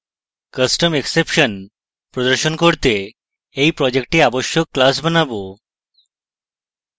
custom exception প্রদর্শন করতে এই project আবশ্যক classes বানাবো